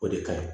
O de ka ɲi